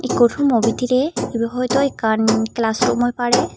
ikko rummo bidrey ibey hoitow class room oi parey.